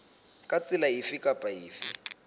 ka tsela efe kapa efe